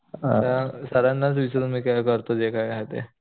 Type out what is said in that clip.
आता सरांनाच विचारून मी करोत मी जे काय आहे ते